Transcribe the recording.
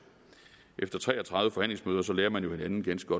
efter tre og tredive forhandlingsmøder lærer man jo hinanden ganske